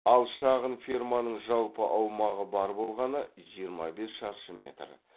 ал шағын ферманың жалпы аумағы бар болғаны жиырма бес шаршы метр